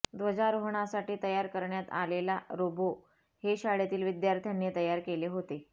ध्वजारोहणासाठी तयार करण्यात आलेला रोबो हे शाळेतील विद्यार्थ्यांनी तयार केले होते